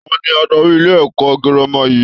Ta ni adarí ilé-ẹ̀kọ́ girama yìí?